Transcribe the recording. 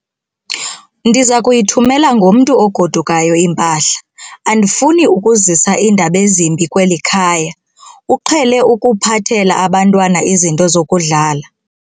Ndiza kuyithumela ngomntu ogodukayo impahla. andifuni ukuzisa iindaba ezimbi kweli khaya, uqhele ukuphathela abantwana izinto zokudlala